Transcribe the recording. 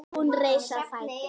Hún reis á fætur.